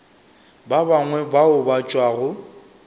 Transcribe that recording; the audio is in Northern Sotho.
ba bangwe bao ba tšwago